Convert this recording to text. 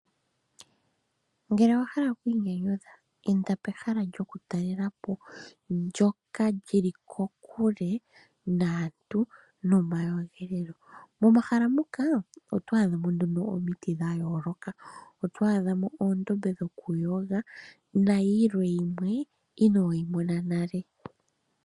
Ngele owahala oku inyanyadhu inda pehala lyomatalelepo ndjoka lili kokule naantu nomakudhilo . Momahala muka oto adhamo omiti dha yooloka, uundama wokuyoga nayilwe mbyoka inoyi mona nale